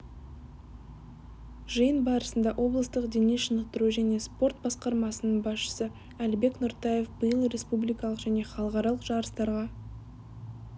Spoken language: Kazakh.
жиын барысында облыстық дене шынықтыру және спорт басқармасының басшысы әлібек нұртаев биыл республикалық және халықаралық жарыстарға